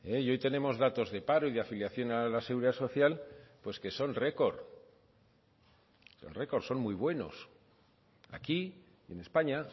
y hoy tenemos datos de paro y de afiliación a la seguridad social pues que son record son record son muy buenos aquí en españa